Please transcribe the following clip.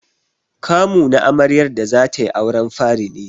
Kamu na amaryar da zatai auren fari ne.